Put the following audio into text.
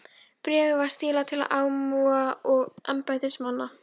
Bréfið var stílað til almúga og embættismanna.